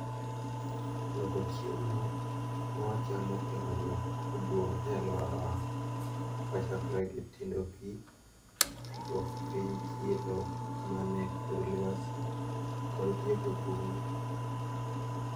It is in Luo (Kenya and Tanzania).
Loko chiemo mawachamo kelo lokruok maduong` e aluorawa. Kochakore gi tindo pii, duoko piny chilo mane kor lwasi kod tieko bunge.